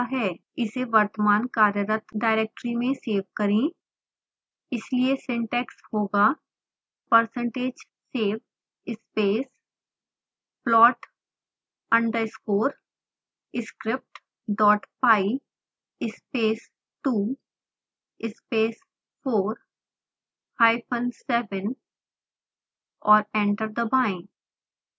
इसे वर्तमान कार्यरत डाइरेक्टरी में सेव करें इसलिए सिन्टैक्स होगा percentage save space plot underscore scriptpy space 2 space 4 hyphen 7 और एंटर दबाएं